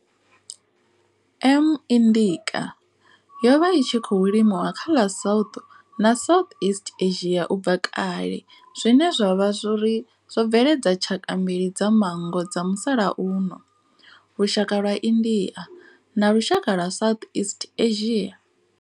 M. indica yo vha i tshi khou limiwa kha ḽa South na Southeast Asia ubva kale zwine zwa vha uri zwo bveledza tshaka mbili dza manngo dza musalauno lushaka lwa India na lushaka lwa Southeast Asia.